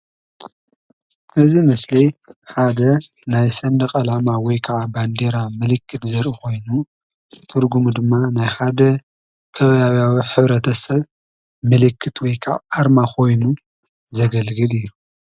እዚ ምስሊ ሓደ ናይ ሰንደቅ ዓላማ ወይ ከዓ ባንዴራ ምልክት ዘርኢ ኮይኑ ትርጉሙ ድማ ናይ ሓደ ከባብያዊ ሕብረተሰብ ምልክት ወይ ከአ አርማ ኮይኑ ዘገልግል እዩ፡፡